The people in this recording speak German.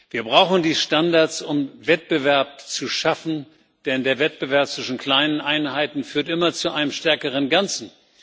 Wir brauchen die Standards, um Wettbewerb zu schaffen, denn der Wettbewerb zwischen kleinen Einheiten führt immer zu einem stärkeren Ganzen.